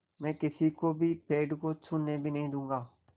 मैं किसी को भी पेड़ को छूने भी नहीं दूँगा